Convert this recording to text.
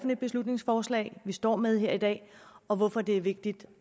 et beslutningsforslag vi står med her i dag og hvorfor det er vigtigt